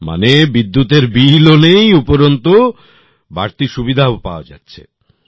মানে বিদ্যুৎএর বিল ও নেই উপরন্তু বাড়তি সুবিধাও পাওয়া যাচ্ছে